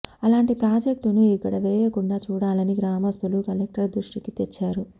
అలాంటి ప్రాజెక్టును ఇక్కడ వేయకుండా చూడాలని గ్రామస్తులు కలెక్టర్ దృష్టికి తెచ్చారు